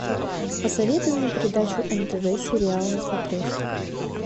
посоветуй мне передачу нтв сериал на смотрешке